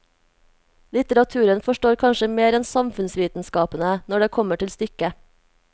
Litteraturen forstår kanskje mer enn samfunnsvitenskapene, når det kommer til stykket.